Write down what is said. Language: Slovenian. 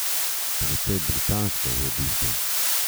Precej britansko, v bistvu.